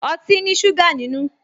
Ọtí ní ṣúgà nínú